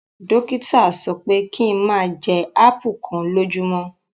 Dokita sọpẹ ki n máa jẹ ápù kan lójúmọ́!